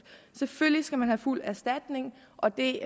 selvfølgelig skal man have fuld erstatning og det